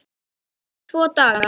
Þú færð tvo daga.